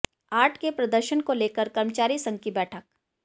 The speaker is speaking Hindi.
आठ के प्रदर्शन को लेकर कर्मचारी संघ की बैठक